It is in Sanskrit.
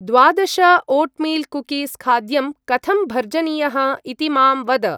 द्वादश-ओट्मील्‌-कुकीस्‌-खाद्यं कथं भर्जनीयः इति मां वद।